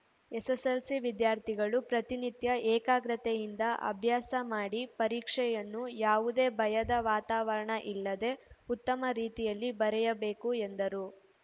SSLC ವಿದ್ಯಾರ್ಥಿಗಳು ಪ್ರತಿನಿತ್ಯ ಏಕಾಗ್ರತೆಯಿಂದ ಅಭ್ಯಾಸ ಮಾಡಿ ಪರೀಕ್ಷೆಯನ್ನು ಯಾವುದೇ ಭಯದ ವಾತಾವರಣ ಇಲ್ಲದೆ ಉತ್ತಮ ರೀತಿಯಲ್ಲಿ ಬರೆಯಬೇಕು ಎಂದರು